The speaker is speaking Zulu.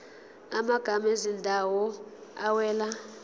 amagama ezindawo awela